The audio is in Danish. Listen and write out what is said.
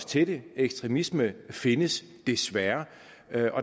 til ekstremisme findes desværre